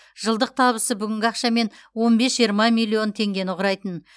жылдық табысы бүгінгі ақшамен он бес жиырма миллион теңгені құрайтын